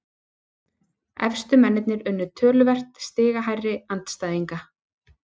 Efstu mennirnir unnu töluvert stigahærri andstæðinga